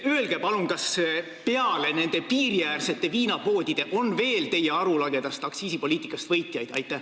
Öelge palun, kas peale nende piiriäärsete viinapoodide on veel võitjaid teie arulagedast aktsiisipoliitikast!